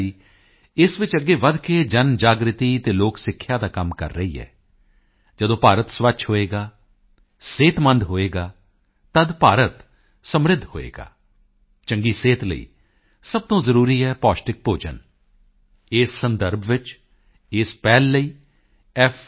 ਆਈ ਇਸ ਵਿੱਚ ਅੱਗੇ ਵਧ ਕੇ ਜਨਜਾਗ੍ਰਿਤੀ ਅਤੇ ਲੋਕ ਸਿੱਖਿਆ ਦਾ ਕੰਮ ਕਰ ਰਹੀ ਹੈ ਜਦੋਂ ਭਾਰਤ ਸਵੱਛ ਹੋਵੇਗਾ ਸਿਹਤਮੰਦ ਹੋਵੇਗਾ ਤਦ ਭਾਰਤ ਸਮ੍ਰਿੱਧ ਹੋਵੇਗਾ ਚੰਗੀ ਸਿਹਤ ਲਈ ਸਭ ਤੋਂ ਜ਼ਰੂਰੀ ਹੈ ਪੌਸ਼ਟਿਕ ਭੋਜਨ ਇਸ ਸੰਦਰਭ ਵਿੱਚ ਇਸ ਪਹਿਲ ਲਈ f